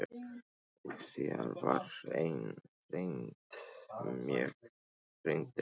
Og síðan var ein reynd, mjög reynd.